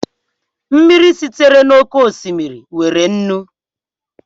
Mmiri esitere n'oké osimiri nwere nnu